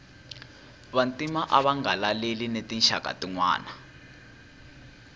vantima ava nga laleli na tinxaka tinwana